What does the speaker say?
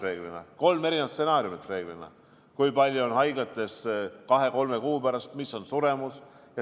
Tavaliselt on kolm erinevat stsenaariumit, kui palju on haiglates COVID-iga patsiente kahe-kolme kuu pärast ja milline on suremus.